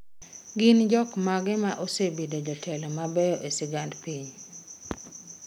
Gin jok mage ma sebedo jotelo mabeyo e sigand piny?